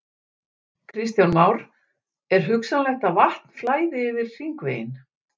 Kristján Már: Er hugsanlegt að vatn flæði yfir hringveginn?